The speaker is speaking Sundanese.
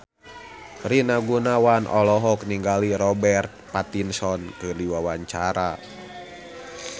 Rina Gunawan olohok ningali Robert Pattinson keur diwawancara